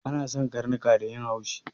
An san karnuka da yin haushi